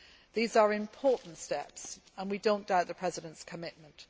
These are important steps, and we do not doubt the President's commitment.